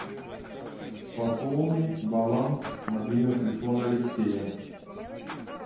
пополни баланс мобильного телефона алексея